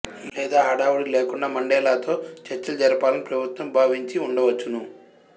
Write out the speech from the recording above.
లేదా హడావుడి లేకుండా మండేలాతో చర్చలు జరపాలని ప్రభుత్వం భావించి ఉండవచ్చును